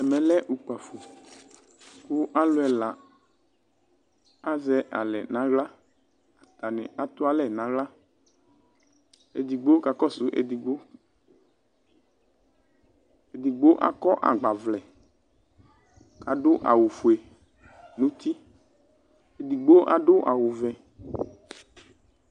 Ɛmɛ lɛ ukpafo kʋ alʋ ɛla azɛ alɛ nʋ aɣla atnibatu alɛ nʋ aɣla edigbo kakɔsʋ edigbo edigbo akɔ agbavlɛ asʋ awʋfue nʋ uti edigbo adʋ awʋvɛ